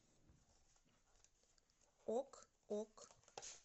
ок ок